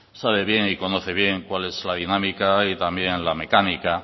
sabe bien y conoce bien cuál es la dinámica y también la mecánica